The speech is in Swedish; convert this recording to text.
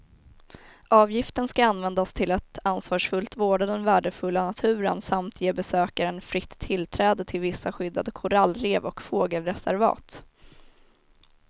Avgiften ska användas till att ansvarsfullt vårda den värdefulla naturen samt ge besökaren fritt tillträde till vissa skyddade korallrev och fågelreservat.